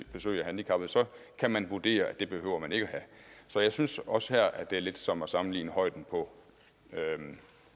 besøg af handicappede kan man vurdere at det behøver man ikke have så jeg synes også her at det er lidt som at sammenligne højden på